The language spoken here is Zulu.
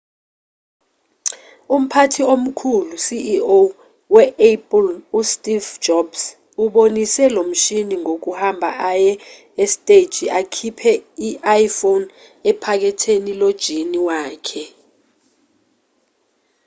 umphathi omkhulu ceo we-apple usteve jobs ubonise lomshini ngokuhamba aye esiteji akhiphe i-iphone ephaketheni lojini wakhe